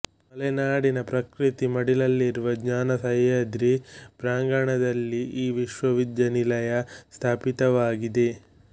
ಮಲೆನಾಡಿನ ಪ್ರಕೃತಿ ಮಡಿಲಲ್ಲಿರುವ ಜ್ಞಾನ ಸಹ್ಯಾದ್ರಿ ಪ್ರಾಂಗಣದಲ್ಲಿ ಈ ವಿಶ್ಯವಿದ್ಯಾನಿಲಯ ಸ್ಥಾಪಿತವಾಗಿದೆ